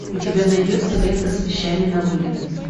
у тебя найдется лента с вещами на вылет